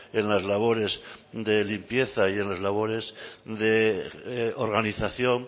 en las labores de limpieza y en las labores de organización